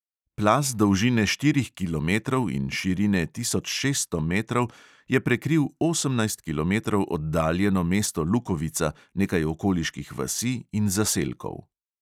Plaz dolžine štirih kilometrov in širine tisoč šeststo metrov je prekril osemnajst kilometrov oddaljeno mesto lukovica, nekaj okoliških vasi in zaselkov.